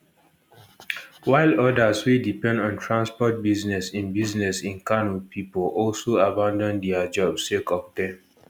while odas wey depend on transport business in business in kano pipo also abandon dia jobs sake of dem